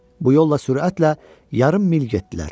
Bu yolla sürətlə yarım mil getdilər.